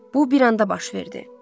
Bu bir anda baş verdi.